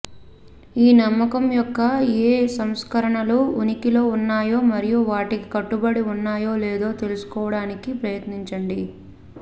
ఈ నమ్మకం యొక్క ఏ సంస్కరణలు ఉనికిలో ఉన్నాయో మరియు వాటికి కట్టుబడి ఉన్నాయో లేదో తెలుసుకోవడానికి ప్రయత్నించండి